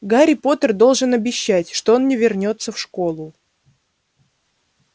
гарри поттер должен обещать что он не вернётся в школу